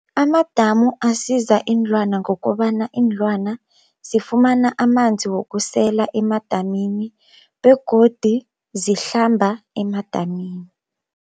Amadamu asiza iinlwana ngokobana iinlwana zifumana amanzi wokusela emadamini begodu zihlamba emadamini.